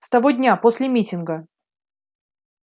с того дня после митинга